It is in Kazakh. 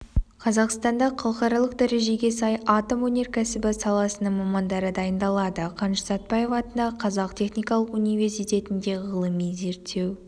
қазақстанда халықаралық дәрежеге сай атом өнеркәсібі саласының мамандары дайындалады қаныш сәтбаев атындағы қазақ техникалық университетінде ғылыми-зерттеу